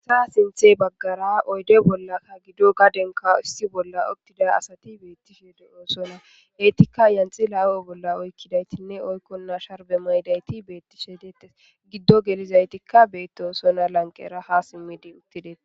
Gita keththa bagara oydde bollakka gadenkka issi bolla utida asati betishshe dosona etikka yanxila huphe bolla oykidaytinne oykona sharbe mayidayti betishshe detes bolla gido gelizaytikka bettosona